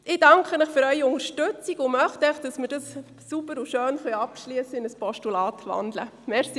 Ich danke Ihnen für Ihre Unterstützung und möchte einfach, dass wir den Vorstoss sauber und schön in Form eines Postulats zum Abschluss bringen können.